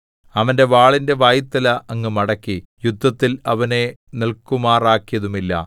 അവന്റെ വാളിന്റെ വായ്ത്തല അങ്ങ് മടക്കി യുദ്ധത്തിൽ അവനെ നില്‍ക്കുമാറാക്കിയതുമില്ല